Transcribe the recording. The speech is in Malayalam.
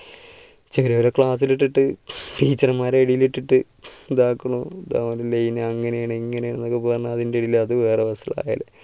ചിലവരെ class ൽ ഇട്ടിട്ട് teacher മാരുടെ ഇടയിൽ ഇട്ടിട്ട് ഇതാക്കണു ഇതാണ് line അങ്ങനെയാണ് ഇങ്ങനെയാണ് എന്നൊക്കെ പറഞ്ഞ് അതിൻ്റെ ഇതിൽ അത് വേറെ ,